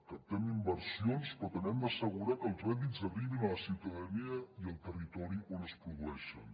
captem inversions però també hem d’assegurar que els rèdits arribin a la ciutadania i al territori on es produeixen